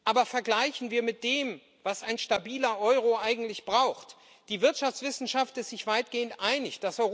Aber vergleichen wir mit dem, was ein stabiler Euro eigentlich braucht die Wirtschaftswissenschaft ist sich weitgehend einig.